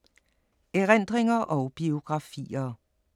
Erindringer og biografier